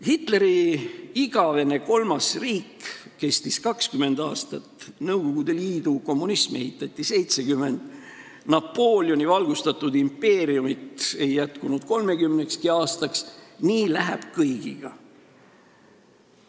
Hitleri igavene kolmas riik kestis 20 aastat, Nõukogude Liidu kommunismi ehitati 70 aastat, Napoleoni valgustatud impeeriumit ei jätkunud 30 aastakski – nii läheb kõigiga.